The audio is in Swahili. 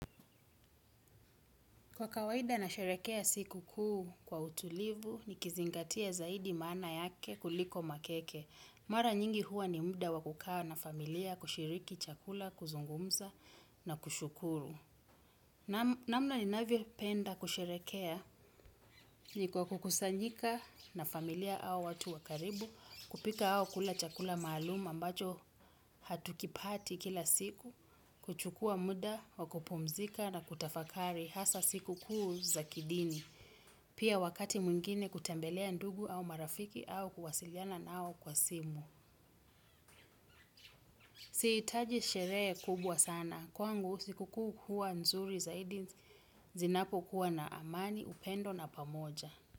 Kwa kawaida nasherekea siku kuu kwa utulivu, nikizingatia zaidi maana yake kuliko makeke. Mara nyingi huwa ni muda wa kukaa na familia kushiriki chakula, kuzungumza na kushukuru. Namna ninavyo penda kusherekea ni kwa kukusanyika na familia au watu wa karibu, kupika au kula chakula maluum ambacho hatukipati kila siku, kuchukua muda, wakupumzika na kutafakari hasa siku kuu za kidini. Pia wakati mwingine kutembelea ndugu au marafiki au kuwasiliana nao kwa simu. Siitaji sheree kubwa sana. Kwangu siku kuu huwa nzuri zaidi zinapo kuwa na amani, upendo na pamoja.